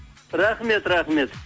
рахмет рахмет